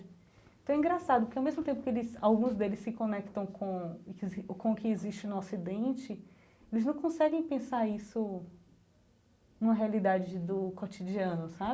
Então é engraçado, porque ao mesmo tempo que eles, alguns deles se conectam com o que exis com o que existe no ocidente, eles não conseguem pensar isso numa realidade do cotidiano, sabe?